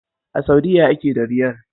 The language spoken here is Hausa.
A Saudiya ake da Riyal.